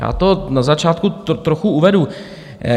Já to na začátku trochu uvedu.